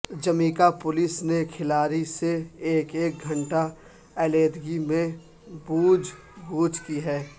Jamaica police نے ہر کھلاڑی سے ایک ایک گھنٹہ علیحدگی میں پوچھ گچھ کی ہے